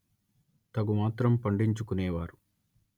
తగు మాత్రం పండించు కునే వారు